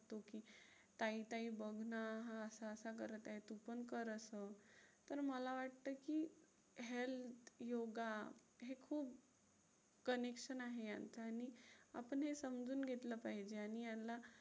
ताई ताई बघ ना हा असा असा करत आहे तू पण कर असं. पण मला वाटतं की health योगा हे खूप connection आहे यांच्यात आणि आपण हे समजून घेतलं पाहिजे आणि यांला